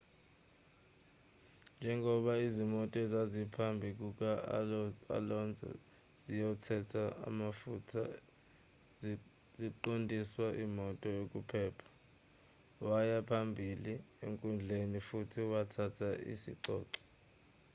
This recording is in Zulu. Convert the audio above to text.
njengoba izimoto ezaziphambi kuka-alonso ziyothela amafutha ziqondiswa imoto yokuphepha waya phambili enkundleni futhi wathatha isicoco